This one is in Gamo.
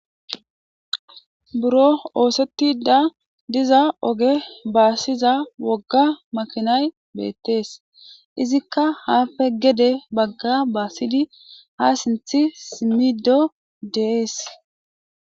Buro othetida diza oge basiza woga makinayi Bette's. Izzikka happe gede Baga basidi ha sinthe simido de'es.